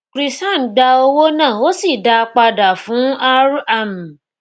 krishan gba owó náà ó sì dá a padà fún r am